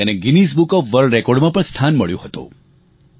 તેને Guinness book of world રેકોર્ડમાં પણ સ્થાન મળ્યું હતું